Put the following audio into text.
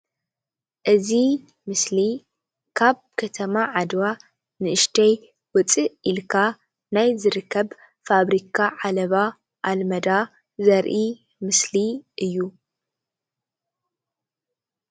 እዚ ምስሊ ካብ ከተማ ዓድዋ ንእሽተይ ውፅእ ኢልካ ናይ ዝርከብ ፋብሪካ ዓለባ ኣልመዳ ዘርኢ ምስሊ እዩ፡፡